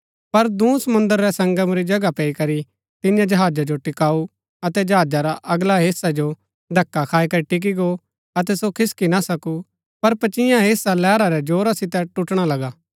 पर दूँ समुंद्र रै संगम री जगह पैई करी तिन्ये जहाजा जो टिकाऊ अतै जहाजा रा अगला हेस्सै जो धक्‍का खाई करी टिकी गो अतै सो खिसकी ना सकूँ पर पचियां हेस्सा लैहरा रै जोरा सितै टुटणा लगा